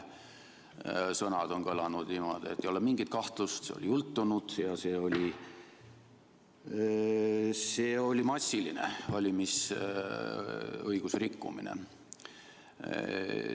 Sõnad on kõlanud niimoodi, et ei ole mingit kahtlust, see oli jultunud ja massiline valimisõiguse rikkumine.